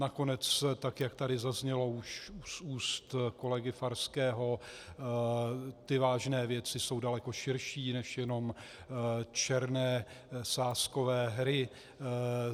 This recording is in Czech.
Nakonec tak jak tady zaznělo už z úst kolegy Farského, ty vážné věci jsou daleko širší než jenom černé sázkové hry.